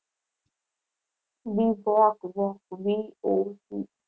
B voc voc V O C.